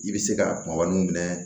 I bɛ se ka kumaba min minɛ